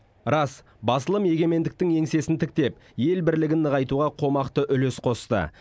рас басылым егемендіктің еңсесін тіктеп ел бірлігін нығайтуға қомақты үлес қосты